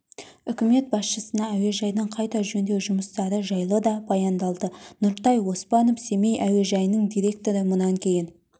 үкімет басшысына әуежайдың қайта жөндеу жұмыстары жайлы да баяндалды нұртай оспанов семей әуежайының директоры мұнан кейін